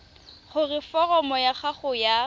gore foromo ya gago ya